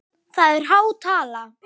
Það er há tala?